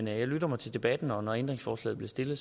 jeg lytter til debatten og når ændringsforslaget bliver stillet